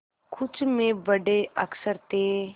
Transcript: कुछ में बड़े अक्षर थे